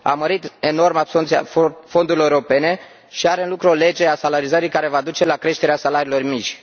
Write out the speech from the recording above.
a mărit enorm absorbția fondurilor europene și are în lucru o lege a salarizării care va duce la creșterea salariilor mici.